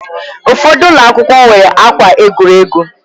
Ụfọdụ ụlọ akwụkwọ nwere akwa egwuregwu